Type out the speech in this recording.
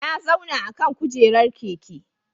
Na zauna akan kujerar keke.